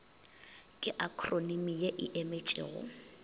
ke akhronimi ye e emetšego